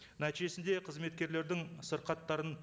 нәтижесінде қызметкерлердің сырқаттарын